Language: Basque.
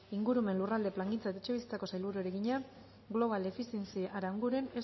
ingurumen lurralde plangintza eta etxebizitzako sailburuari egina global efficiency aranguren